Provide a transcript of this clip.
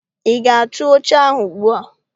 Ị ga-atụ oche ahụ ugbua!